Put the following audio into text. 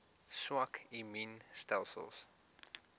swak immuun stelsels